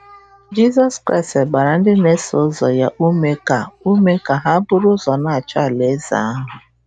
Jizọs Kraịst gbara ndị na-eso ụzọ ya ume ka ume ka ha ‘buru ụzọ na-achọ alaeze ahụ'